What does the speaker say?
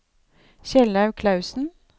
Kjellaug Klausen